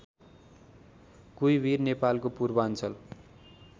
कुइभीर नेपालको पूर्वाञ्चल